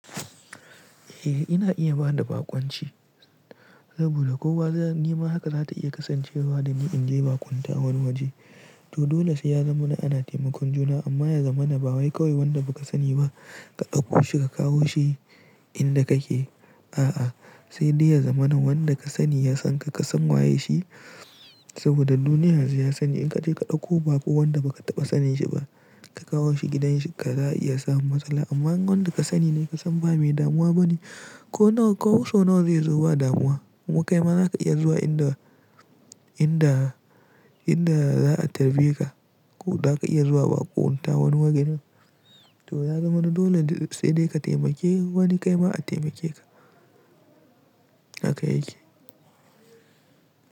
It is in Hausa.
Eh, ina iya ba da baƙunci saboda kowa nima haka za ta iya kasancewa da ni in je baƙunta wani waje. To dole sai ya zama na ana taimakon juna amma ya zamana ba wai kawai wanda baka sani ba, ka ɗauko shi ka kawo shi inda kake. A'a, sai dai ya zamana wanda ka sani ya san ka, ka san waye shi saboda duniya yanzu ya canza, in ka je ka ɗauko baƙo wanda baka taɓa sanin shi ba, ka kawo shi gidan ka za iya samun matsala amma idan wanda ka sani ne ka san ba mai damuwa bane ko nawa, ko sau nawa zai zo ba damuwa. Ko kaima za ka iya zuwa inda, inda, inda za a tarbe ka. Ko za ka iya zuwa baƙunta wani waje. To ya zama na dole sai dai ka taimake wani kaima a taimake ka. Haka yake.